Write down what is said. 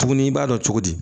Tuguni i b'a dɔn cogo di